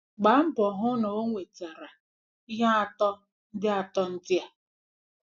Gbaa mbọ hụ na o nwe tara ihe atọ ndị atọ ndị a: